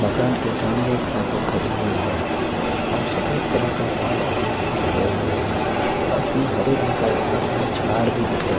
मकान के सामने एक साइकिल खड़ी हुई है और सफेद कलर का एक बड़ा सा गेट भी लगा हुआ है पास में हरे रंग का एक बहुत बड़ा झाड़ भी दिख रहा--